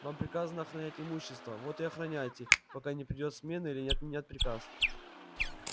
вам приказано охранять имущество вот и охраняйте пока не придёт смена или не отменят приказ